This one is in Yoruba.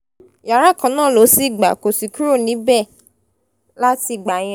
yàrá kan náà ló sì gbà kó sì kúrò níbẹ̀ láti ìgbà yẹn